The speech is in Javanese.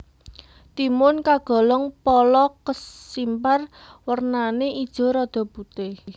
Timun kagolong pala kesimpar wernané ijo rada putih